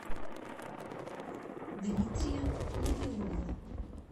дмитрия набиуллина